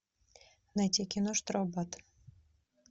найти кино штрафбат